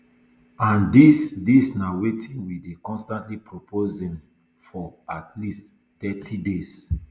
and dis dis na wetin we dey constantly proposing um for at least thirty days